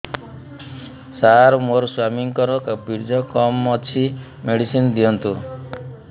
ସାର ମୋର ସ୍ୱାମୀଙ୍କର ବୀର୍ଯ୍ୟ କମ ଅଛି ମେଡିସିନ ଦିଅନ୍ତୁ